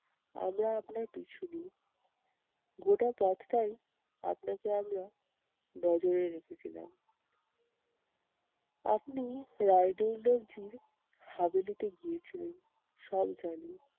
আমরা আপনার পিছু নিই। গোটা পথটাই আপনাকে আমরা নজরে রেখেছিলাম। আপনি রায়দুল্লজির গিয়েছিলেন, সব জানি।